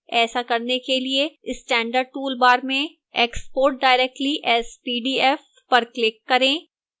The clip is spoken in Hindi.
ऐसा करने के लिए standard toolbar में export directly as pdf पर click करें